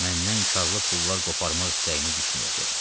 Məndən karlıklı pullar qoparmaq istəyiniz düşməyəcək.